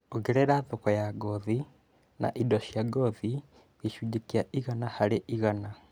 ongerera thoko ya ngothi na indo cia ngothi gĩcunjĩ kia igana harĩ igana